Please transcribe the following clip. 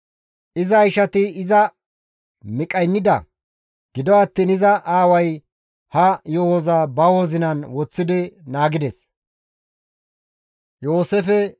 Iza ishati iza miqqaynida; gido attiin iza aaway ha yo7oza ba wozinan woththidi naagides.